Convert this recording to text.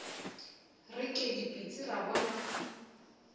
re ke dipitsi ra bona